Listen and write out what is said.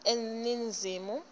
eningizimu